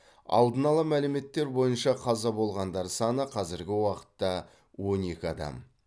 алдын ала мәліметтер бойынша қаза болғандар саны қазіргі уақытта он екі адам